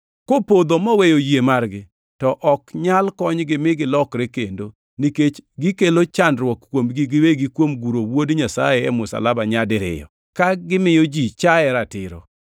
kopodho moweyo yie margi, to ok nyal konygi mi gilokre kendo, nikech gikelo chandruok kuomgi giwegi kuom guro Wuod Nyasaye e msalaba nyadiriyo, ka gimiyo ji chaye ratiro.